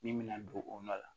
Min mɛna don o nɔ la